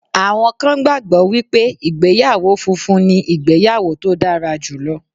Àwọn kan gbàgbọ́ wípé ìgbéyàwó funfun ni ìgbéyàwó tó dára jùlọ